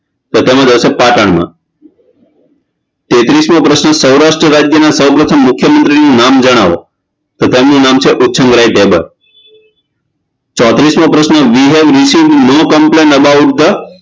તો તેનું રહેશે પાટણમાં તેત્રીસમો પ્રશ્ન સૌરાષ્ટ રાજયના સૌ પ્રથમ મુખ્યમંત્રીનું નામ જણાવો તો તેમનું નામ છે ઉછરંગરાય ઢેબર ચોત્રીસમો પ્રશ્ન we have received complaints about the